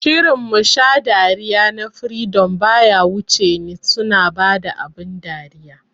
Shirin "Musha dariya" na freedom baya wuce ni, suna bada abin dariya